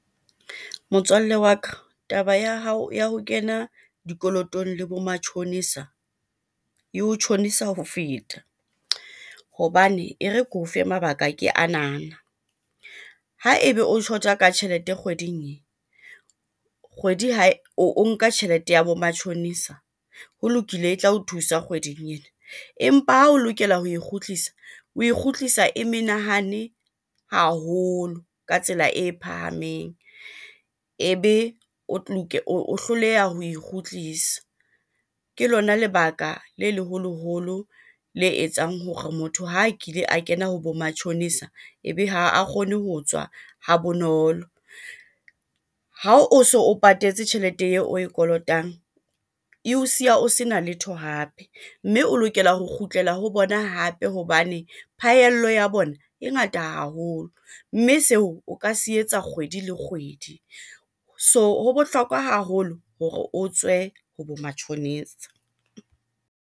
Motswalle wa ka taba ya hao ya ho kena dikolotong le bo matjhonisa e ho tjhonisa ho feta hobane e re ke o fe mabaka ke anana. Ha ebe o shota ka tjhelete kgweding ee, kgwedi ha o nka tjhelete ya bo matjhonisa ho lokile e tla o thusa kgweding ena. Empa ha o lokela ho e kgutlisa, oe kgutlisa e menahane haholo ka tsela e phahameng ebe o hloleha ho e kgutlisa. Ke lona lebaka le leholoholo le etsang hore motho ha kile a kena ho bo matjhonisa ebe ha a kgone ho tswa ha bonolo. Ha o so o patetse tjhelete eo oe kolotang, eo siya o sena letho hape mme o lokela ho kgutlela ho bona hape hobane phahello ya bona e ngata haholo, mme seo o ka se etsa kgwedi le kgwedi. So ho bohlokwa haholo hore o tswe ho bo matjhonisa.